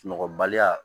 Sunɔgɔbaliya